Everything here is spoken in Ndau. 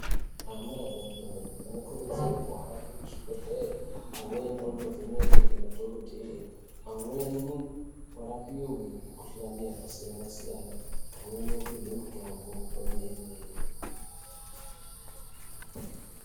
Ana adodori anokurudzirwa kuhamba muzvigwehleri amweni andovhenekwa ngemadhokotera , amweni arapihwe muhlani yakasiyana siyana ,vamweni vopihwa mitombo kwemhene .